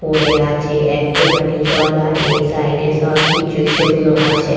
পড়ে আছে একটুখানি জল। আর এ সাইড -এ সবকিছু শুকনো আছে।